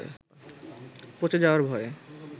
পচে যাওয়ার ভয়ে